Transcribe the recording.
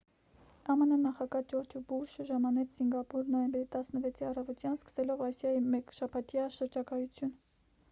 ամն նախագահ ջորջ ու բուշը ժամանեց սինգապուր նոյեմբերի 16-ի առավոտյան սկսելով ասիայի մեկշաբաթյա շրջագայություն